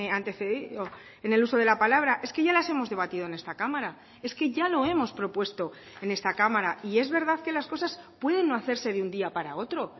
antecedido en el uso de la palabra es que ya las hemos debatido en esta cámara es que ya lo hemos propuesto en esta cámara y es verdad que las cosas pueden no hacerse de un día para otro